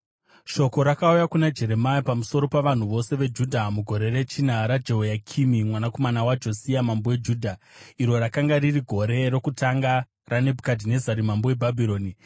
Shoko rakauya kuna Jeremia pamusoro pavanhu vose veJudha mugore rechina raJehoyakimi mwanakomana waJosia mambo weJudha, iro rakanga riri gore rokutanga raNebhukadhinezari mambo weBhabhironi.